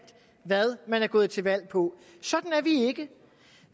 hvad man er gået til valg på sådan er vi ikke